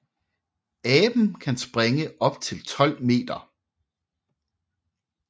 Aben kan springe op til 12 meter